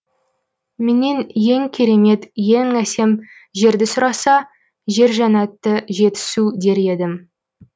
менен ең керемет ең әсем жерді сұраса жер жәннаты жетісу дер едім